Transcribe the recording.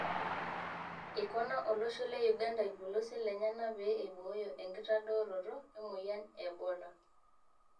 Eikona olosho le Uganda ilpolosien lenyana pee eibooyo enkitadaroto emoyian e Ebola.